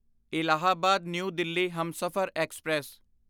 Allahabad new Delhi Humsafar express